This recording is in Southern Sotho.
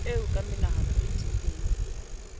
eo ka menahano e tiileng